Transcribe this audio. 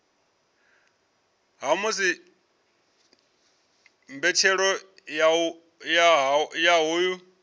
ha musi mbetshelo ya hoyu